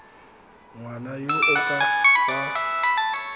ngwana yo o ka fa